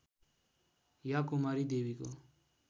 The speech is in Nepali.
या कुमारी देवीको